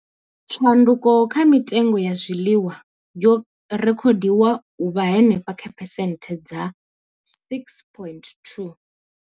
Tshanduko kha mitengo ya zwiḽiwa yo rekhodiwa u vha henefha kha phesenthe dza 6.2.